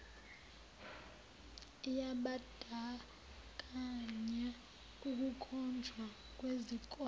yabandakanya ukukhonjwa kwezikole